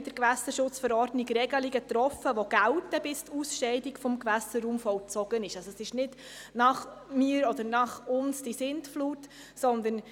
Sie haben dieser Planungserklärung zugestimmt mit 77 Ja- bei 52 Nein-Stimmen und 12 Enthaltungen.